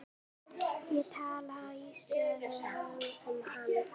Ég talaði stöðugt um hann.